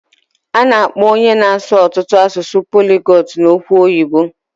A na-akpọ onye na-asụ ọtụtụ asụsụ poligotu n'okwụ oyibo.